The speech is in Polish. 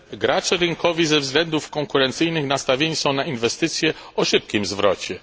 Gracze rynkowi ze względów konkurencyjnych nastawieni są na inwestycje o szybkim zwrocie.